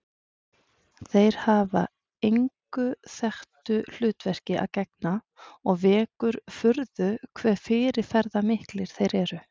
Þeir hafa engu þekktu hlutverki að gegna og vekur furðu hve fyrirferðarmiklir þeir eru.